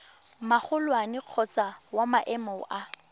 magolwane kgotsa wa maemo a